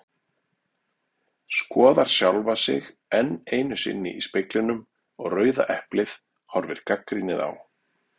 Skoðar sjálfa sig enn einu sinni í speglinum og Rauða eplið horfir gagnrýnið á.